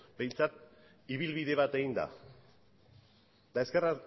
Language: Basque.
behintzat ibilbide bat egin da eta ezker